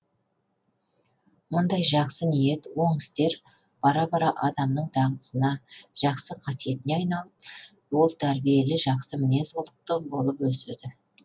мұндай жақсы ниет оң істер бара бара адамның дағдысына жақсы қасиетіне айналып ол тәрбиелі жақсы мінез кұлықты болып өседі